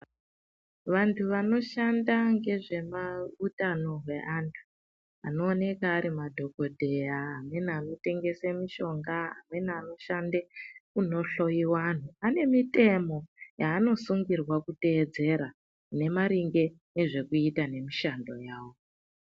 Vantu vano shanda ngezve ma utano hwe vantu vano oneka ari madhokodheya amweni ano tengesa mushonga amweni ano shande kuno hloyiwa antu ane mutemo yaano sungirwa kuteedzera ine maringe ngezve kuita nge mushando wavo.